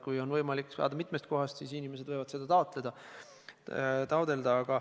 Kui on võimalik saada mitmest kohast, siis inimesed võivad seda taotleda.